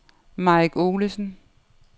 Mike Olesen